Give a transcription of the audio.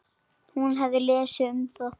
Hún hafði lesið um það.